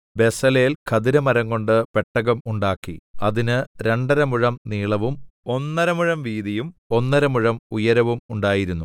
Bezalel ഖദിരമരംകൊണ്ട് പെട്ടകം ഉണ്ടാക്കി അതിന് രണ്ടരമുഴം നീളവും ഒന്നര മുഴം വീതിയും ഒന്നര മുഴം ഉയരവും ഉണ്ടായിരുന്നു